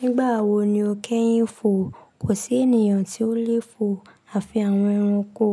Nígbà wo ni o kẹ́yìn fò? Kò sí ènìyàn tí ó lè fò. Àfi àwọn ẹranko,